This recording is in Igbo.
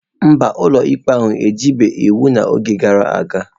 Mba, ụlọikpe ahụ ejibeghị iwu n'oge gara aga.